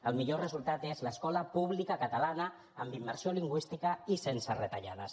el millor resultat és l’escola pública catalana amb immersió lingüística i sense retallades